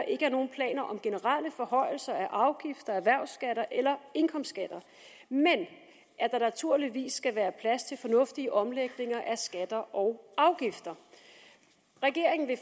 planer om generelle forhøjelser af afgifter erhvervsskatter eller indkomstskatter men at der naturligvis skal være plads til fornuftige omlægninger af skatter og afgifter regeringen vil